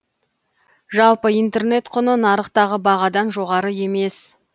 жалпы интернет құны нарықтағы бағадан жоғары емес